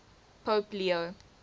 pope leo